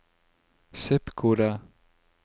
zip-kode